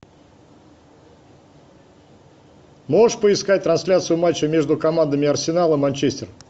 можешь поискать трансляцию матча между командами арсенал и манчестер